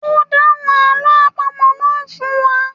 O dáhùn àlọ́ àpamọ̀ náà fún wa